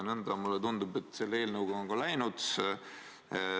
Nõnda, mulle tundub, et selle eelnõuga on ka läinud.